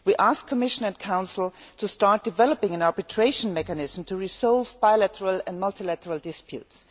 We ask the Commission and Council to start developing an arbitration mechanism to resolve bilateral and multilateral disputes.